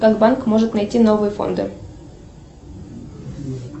как банк может найти новые фонды